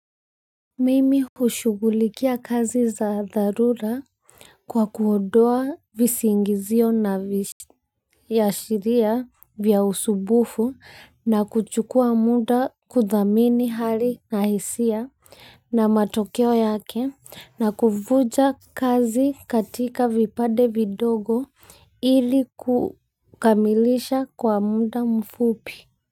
Mimi hjshugulikia kazi za dharura kwa kuondoa visingizio na viashiria vya usbufu na kuchukua muda kuthamini hali na hisia na matokeo yake na kuvuja kazi katika vipade vidogo ili kukamilisha kwa muda mfupi kwa hivyo.